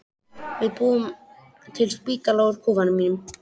Við búum til spítala úr kofanum mínum.